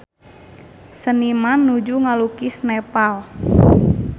Seniman nuju ngalukis Nepal